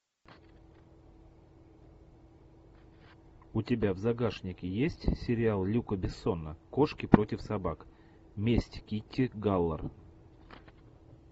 у тебя в загашнике есть сериал люка бессона кошки против собак месть китти галор